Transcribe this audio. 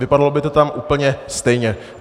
Vypadalo by to tam úplně stejně.